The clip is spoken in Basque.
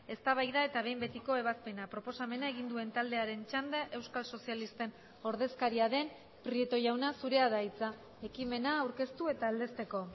eztabaida eta behin betiko ebazpena proposamena egin duen taldearen txanda euskal sozialisten ordezkaria den prieto jauna zurea da hitza ekimena aurkeztu eta aldezteko